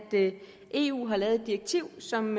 eu har lavet et direktiv som